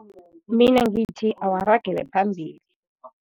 Mina ngithi awaragele phambili.